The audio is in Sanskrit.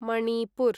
मणिपुर्